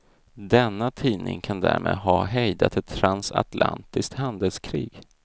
Denna tidning kan därmed ha hejdat ett transatlantiskt handelskrig.